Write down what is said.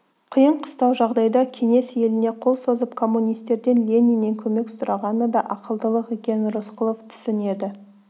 қиын-қыстау жағдайда кеңес еліне қол созып коммунистерден лениннен көмек сұрағаны да ақылдылық екенін рысқұлов түсінеді